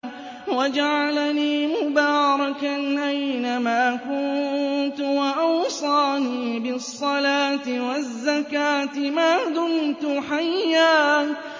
وَجَعَلَنِي مُبَارَكًا أَيْنَ مَا كُنتُ وَأَوْصَانِي بِالصَّلَاةِ وَالزَّكَاةِ مَا دُمْتُ حَيًّا